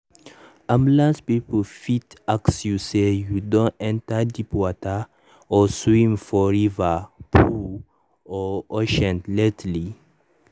ambulance people fit ask you say you don enter deep water or swim for river pool or ocean lately?